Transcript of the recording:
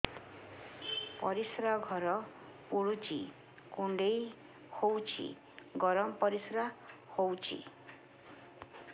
ପରିସ୍ରା ଘର ପୁଡୁଚି କୁଣ୍ଡେଇ ହଉଚି ଗରମ ପରିସ୍ରା ହଉଚି